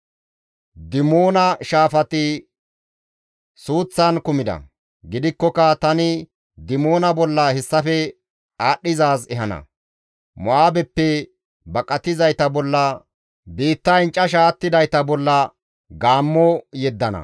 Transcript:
Dimoona shaafati suuththan kumida; gidikkoka tani Dimoona bolla hessafe aadhdhizaaz ehana. Mo7aabeppe baqatizayta bolla biittayn casha attidayta bolla gaammo yeddana.